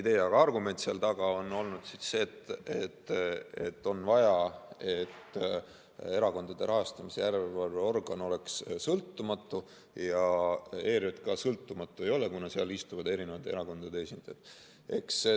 Laiem argument seal taga on olnud see, et erakondade rahastamise järelevalve organ peaks olema sõltumatu ja ERJK sõltumatu ei ole, kuna seal istuvad erakondade esindajad.